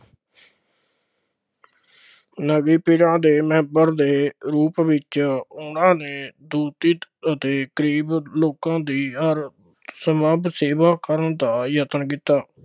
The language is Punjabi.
ਦੇ ਮੈਂਬਰ ਦੇ ਰੂਪ ਦੇ ਵਿੱਚ ਉਹਨਾ ਨੇ ਅਤੇ ਗਰੀਬ ਲੋਕਾਂ ਦੀ ਹਰ ਸੰਭਵ ਸੇਵਾ ਕਰਨ ਦਾ ਯਤਨ ਕੀਤਾ,